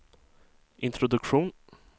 introduktion